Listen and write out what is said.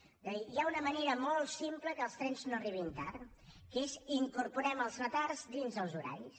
és a dir hi ha una manera molt simple que els trens no arribin tard que és incorporem els retards dins dels horaris